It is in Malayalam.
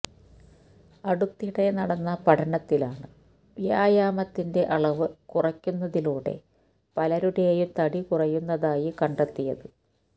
അടുത്തിടെ നടന്ന പഠനത്തിലാണ് വ്യായമത്തിന്റെ അളവ് കുറയ്ക്കുന്നതിലൂടെ പലരുടേയും തടി കുറയുന്നതായി കണ്ടെത്തിയത്